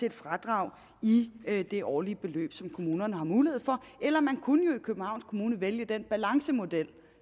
et fradrag i det årlige beløb som kommunerne har mulighed for eller man kunne jo i københavns kommune vælge den balancemodel